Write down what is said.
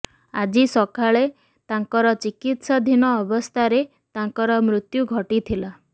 ଆଜି ସକାଳେ ତାଙ୍କର ଚିକିତ୍ସାଧୀନ ଅବସ୍ଥାରେ ତାଙ୍କର ମୃତ୍ୟୁ ଘଟିଥିଲା